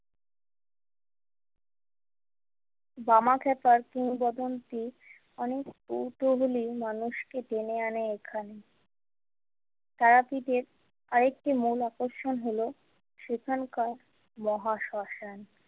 বামাখ্যাপার পুরববন্তি অনেক কৌতূহলী মানুষকে টেনে আনে এখানে তারাপীঠের আর একটি মূল আকর্ষণ হল সেখানকার মহাশ্মশান।